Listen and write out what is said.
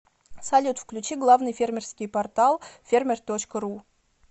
салют включи главный фермерский портал фермер точка ру